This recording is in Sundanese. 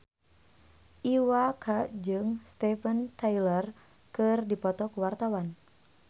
Iwa K jeung Steven Tyler keur dipoto ku wartawan